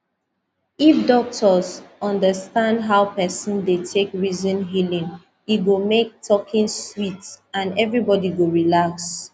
if doctor understand how person dey take reason healing e go make talking sweet and everybody go relax